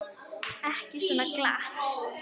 Ekki svo glatt.